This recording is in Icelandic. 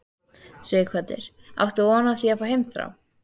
Sighvatur: Áttir þú von á því að fá heimþrá?